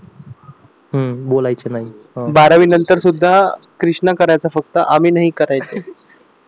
बारावी वी नंतर सुद्धा कृष्णा करायचा फक्त आम्ही नाही करायचं